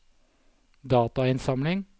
datainnsamling